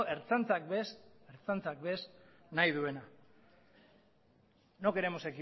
ertzantzak ere ez nahi duena no queremos